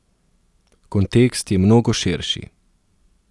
Kontekst je mnogo širši.